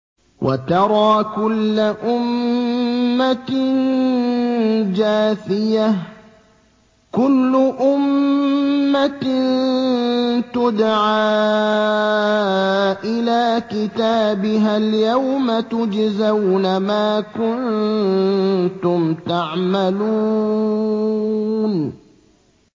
وَتَرَىٰ كُلَّ أُمَّةٍ جَاثِيَةً ۚ كُلُّ أُمَّةٍ تُدْعَىٰ إِلَىٰ كِتَابِهَا الْيَوْمَ تُجْزَوْنَ مَا كُنتُمْ تَعْمَلُونَ